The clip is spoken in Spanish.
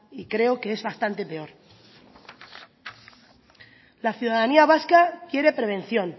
y creo que es bastante peor la ciudadanía vasca quiere prevención